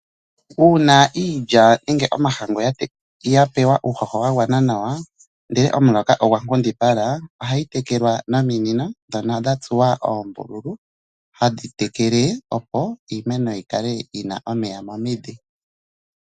Uuna iiya nenge omahangu ya pewa uuhoho wa gwanana nnawa nde omuloka ogwa nkundipala ohayi tekelwa nominino ndhono dha tsuwa oombululu hadhi tekele opo iimeno yi kale yina omeya omidhi.